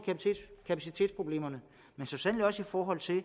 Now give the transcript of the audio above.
kapacitetsproblemerne men så sandelig også i forhold til at